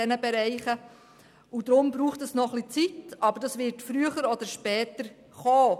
Deshalb braucht die Digitalisierung noch ein bisschen Zeit, aber früher oder später wird diese kommen.